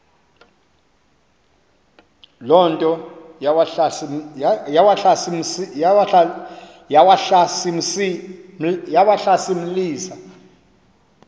loo nto yawahlasimlisa